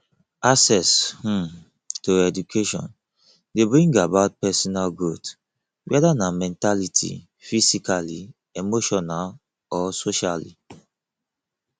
access um to education de bring about personal growth whether na mentality physically emotionall or socially